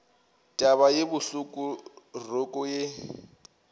taba ye bohloko roko ye